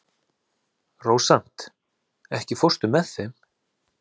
Rósant, ekki fórstu með þeim?